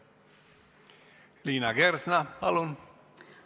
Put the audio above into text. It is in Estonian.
Liina Kersna, palun!